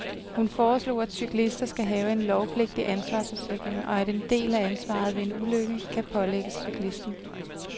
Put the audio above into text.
Hun foreslog, at cyklister skal have en lovpligtig ansvarsforsikring, og at en del af ansvaret ved en ulykke kan pålægges cyklisten.